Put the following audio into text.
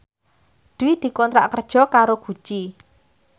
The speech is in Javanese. Dwi dikontrak kerja karo Gucci